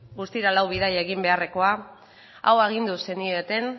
guztira lau bidaia egin beharrekoa hau agindu zenieten